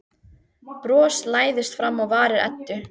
Bros læðist fram á varir Eddu.